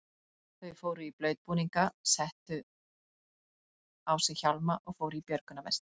Þau fóru í blautbúninga, settu á sig hjálma og fóru í björgunarvesti.